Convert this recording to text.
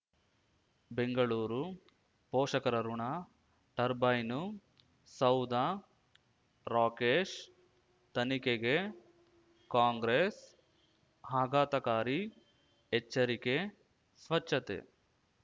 ಬೆಂಗಳೂರು ಪೋಷಕರಋಣ ಟರ್ಬೈನು ಸೌಧ ರಾಕೇಶ್ ತನಿಖೆಗೆ ಕಾಂಗ್ರೆಸ್ ಆಘಾತಕಾರಿ ಎಚ್ಚರಿಕೆ ಸ್ವಚ್ಛತೆ